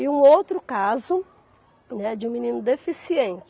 E um outro caso, né, de um menino deficiente.